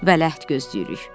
Vələhd gözləyirik.